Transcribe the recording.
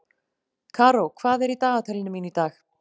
Karó, hvað er í dagatalinu mínu í dag?